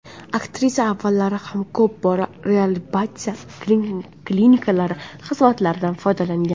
Aktrisa avvallari ham ko‘p bora reabilitatsiya klinikalari xizmatlaridan foydalangan.